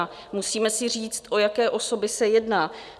A musíme si říct, o jaké osoby se jedná.